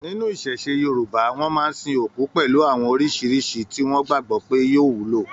Nínú iṣẹṣe Yorùbá, wọn máa n sìn òkú pẹlú àwọn oríṣiríṣi tí wọn gbagbọ pé yóò wúlò.